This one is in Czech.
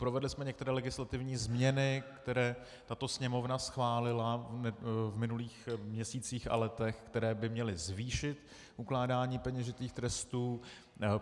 Provedli jsme některé legislativní změny, které tato Sněmovna schválila v minulých měsících a letech, které by měly zvýšit ukládání peněžitých trestů.